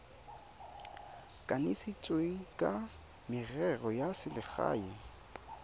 kanisitsweng wa merero ya selegae